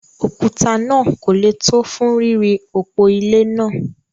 òkúta náà kò le tó fún ríri òpó ilé náà.